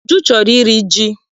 Uju chọrọ iri ji.